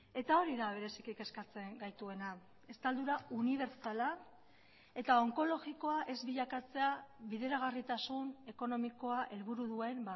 eta hori da bereziki kezkatzen gaituena estaldura unibertsala eta onkologikoa ez bilakatzea bideragarritasun ekonomikoa helburu duen